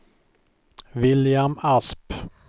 William Asp